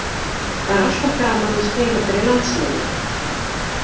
Það er alltaf gaman að spila fyrir landsliðið.